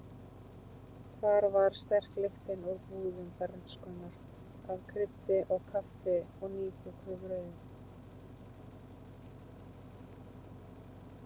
Hvar var sterk lyktin úr búðum bernskunnar af kryddi og kaffi og nýbökuðu brauði?